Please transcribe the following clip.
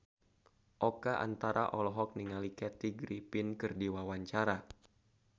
Oka Antara olohok ningali Kathy Griffin keur diwawancara